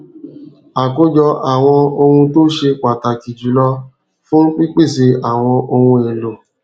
àkójọ àwọn ohun tó ṣe pàtàkì jù lọ fún pípèsè àwọn ohun èlò